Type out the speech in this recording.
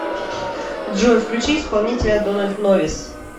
джой включи исполнителя дональд новис